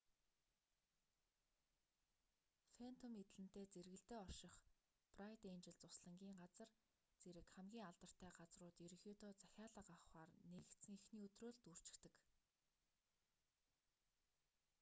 фэнтом эдлэнтэй зэргэлдээ орших брайт энжел зуслангийн газар зэрэг хамгийн алдартай газрууд ерөнхийдөө захиалга авахаар нээгдсэн эхний өдрөө л дүүрчихдэг